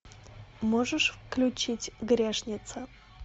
можешь включить грешница